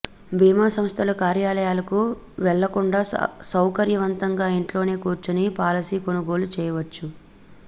బీమా సంస్థల కార్యాలయాలకు వెళ్లకుండా సౌకర్యవంతంగా ఇంట్లోనే కూర్చుని పాలసీ కొనుగోలు చేయచ్చు